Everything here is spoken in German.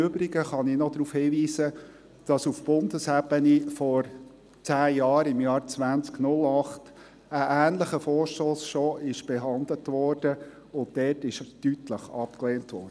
Im Übrigen kann ich noch darauf hinweisen, dass auf Bundesebene vor zehn Jahren, im Jahr 2008, bereits ein ähnlicher Vorstoss behandelt und damals deutlich abgelehnt wurde.